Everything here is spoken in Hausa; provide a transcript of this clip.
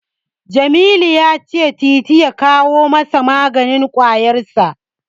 Jamilu ya cewa Titi ya kawo masa maganin ƙwayarsa.